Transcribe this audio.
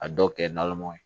A dɔw kɛ namɔ ye